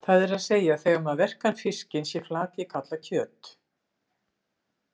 Það er að segja að þegar maður verkar fiskinn sé flakið kallað kjöt.